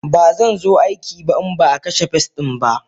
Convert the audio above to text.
Bazanzo aiki ba inbaa kashe pest dinba.